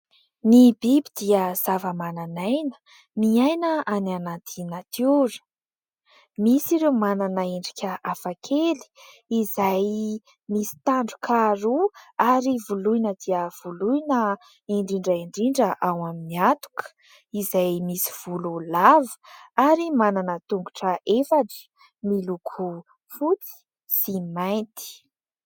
Ny biby dia zava-mananaina, miaina any anaty natiora. Misy ireo manana endrika hafa kely izay misy tandroka roa ary voloina dia voloina indrindra indrindra ao amin'ny hatoka izay misy volo lava ary manana tongotra efatra, miloko fotsy sy mainty.